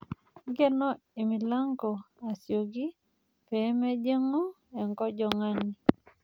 Nkeno emilango asioki pee mejing'u enkojong'ani.